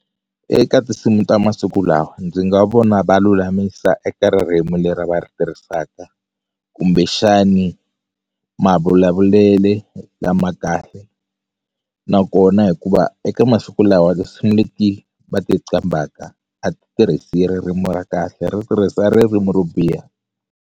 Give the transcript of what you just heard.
Eka tinsimu ta masiku lawa ndzi nga vona va lulamisa eka ririmi leri va ri tirhisaka kumbexani mavulavulele lama kahle nakona hikuva eka masiku lawa tinsimu leti va ti qambhaka a ti tirhisi ririmu ra kahle ri tirhisa ririmu ro biha.